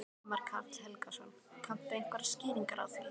Ingimar Karl Helgason: Kanntu einhverjar skýringar á því?